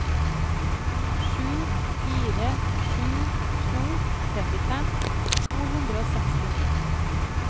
sju fire sju to trettifem to hundre og sekstini